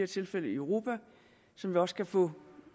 tilfælde i europa som vi også kan få